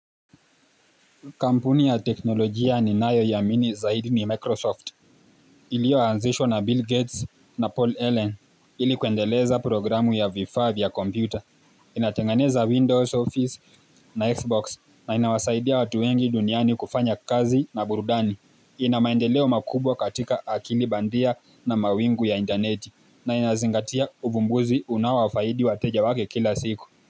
Kampuni ya teknolojia ni nayoiamini zaidi ni Microsoft. Ilio anzishwa na Bill Gates na Paul Allen ilikuendeleza programu ya V5 ya kompyuta. Inatingeneza Windows Office na Xbox na inawasaidia watu wengi duniani kufanya kazi na burudani. Inamaendeleo makubwa katika akili bandia na mawingu ya interneti na inazingatia uvumbuzi unaowafaidi wateja wake kila siku.